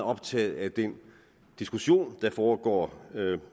optaget af den diskussion der foregår